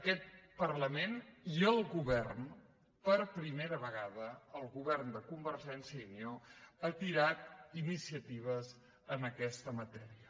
aquest parlament i el govern per primera vegada el govern de convergència i unió ha tirat endavant ini·ciatives en aquesta matèria